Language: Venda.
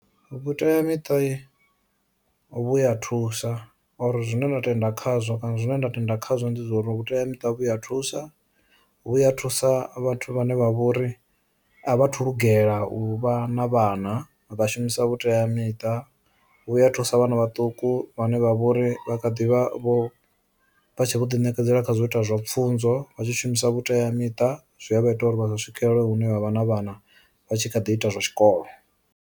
Vhuteamiṱa vhuya thusa uri zwine ndo tenda khazwo kana zwine nda tenda khazwo ndi zwa uri vhuteamita vhu a thusa, vhuya thusa vhathu vhane vha vhori a vha thu lugela u vha na vhana vha shumisa vhuteamiṱa vhuya thusa vhana vhaṱuku vhane vha vhori vha kha ḓivha vho vha tshi vho ḓi nekedzela khazwo ita zwa pfunzo vha tshi shumisa vhuteamiṱa, zwi a vha ita uri vha si swikelele hune vha vha na vhana vha tshi kha ḓi ita zwa tshikolo.